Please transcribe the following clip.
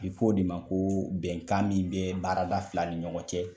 A bɛ fɔ o de ma ko bɛnkan min bɛ baarada fila ni ɲɔgɔn cɛ.